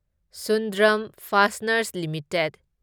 Sundram fasteners limited